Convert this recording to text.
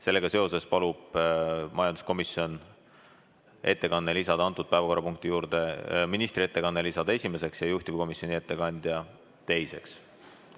Sellega seoses palus majanduskomisjon panna ministri ettekanne selle päevakorrapunkti juures esimeseks ja juhtivkomisjoni ettekanne jätta teiseks.